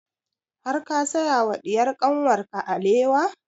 Har ka saya wa diyar kanwar ka alewa?